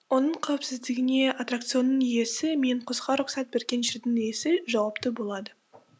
оның қауіпсіздігіне аттракционның иесі мен қосуға рұқсат берген жердің иесі жауапты болады